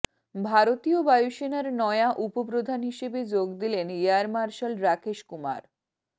ভারতীয় বায়ুসেনার নয়া উপপ্রধান হিসেবে যোগ দিলেন এয়ার মার্শাল রাকেশ কুমার